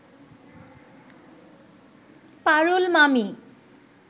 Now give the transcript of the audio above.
পারুল মামি